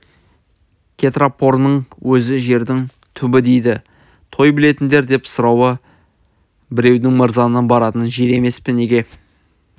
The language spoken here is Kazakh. кетрампорыңның өзі жердің түбі дейді той білетіндер деп сұрады біреуі мырзаның баратын жері емес неге